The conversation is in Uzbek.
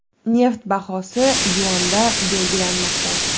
Neft bahosi yuanda belgilanmoqda.